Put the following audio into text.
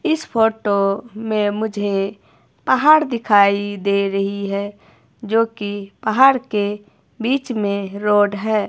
इस फोटो में मुझे पहाड़ दिखाई दे रही है जो की पहाड़ के बीच में एक रोड है।